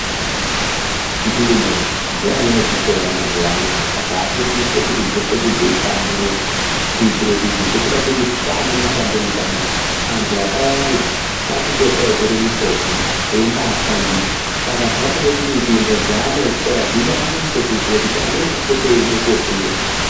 Nzvimbo dzevana vechikora mazuvano aya dzava kusise kuti dzipote dzichihlamburuka kuitire kuti ngekuda kwekuti kwava ngemadande mutande. Antu akawanda ave kupota achitore mifodho echimbaya shandisa, saka zvave kude kuti nzvimbo dzevana vechikora dzidadise kuitira kuti amweni apote achide kundo fundepo.